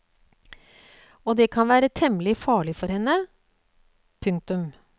Og det kan være temmelig farlig for henne. punktum